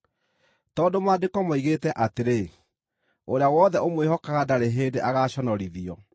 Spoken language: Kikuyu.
Tondũ Maandĩko moigĩte atĩrĩ, “Ũrĩa wothe ũmwĩhokaga ndarĩ hĩndĩ agaaconorithio.”